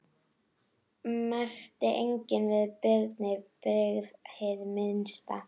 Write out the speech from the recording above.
Merkti enginn að Birni brygði hið minnsta.